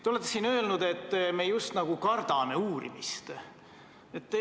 Te olete siin öelnud, et me just nagu kardaksime uurimist.